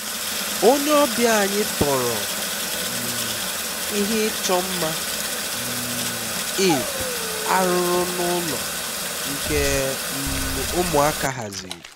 onye ọbịa anyị toro um ihe ịchọ mma um eid arụrụ n'ụlọ nke um ụmụaka haziri